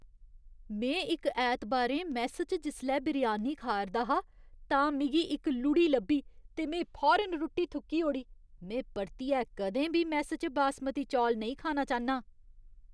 में इक ऐतबारें मैस्स च जिसलै बिरयानी खा 'रदा हा, तां मिगी इक लुढ़ी लब्भी ते में फौरन रुट्टी थुक्की ओड़ी। में परतियै कदें बी मैस्स च बासमती चौल नेईं खाना चाह्न्नां।